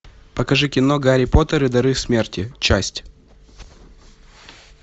покажи кино гарри поттер и дары смерти часть